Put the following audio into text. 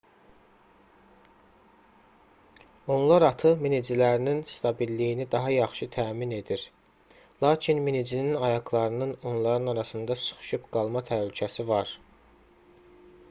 onlar atı minicilərinin stabilliyini daha yaxşı təmin edir lakin minicinin ayaqlarının onların arasında sıxışıb qalma təhlükəsi var